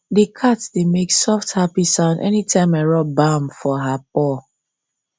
the cat dey make soft happy sound anytime i rub balm for her paw